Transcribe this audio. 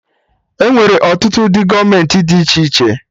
Enwere ọtụtụ udo gọọmenti dị iche iche